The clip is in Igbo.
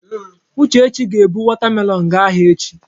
Uchechi ga-ebu wọta melọọnụ gaa ahịa echi.